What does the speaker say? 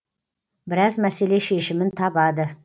біраз мәселе шешімін табады